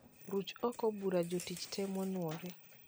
Ruch oko bura jotich tee manuore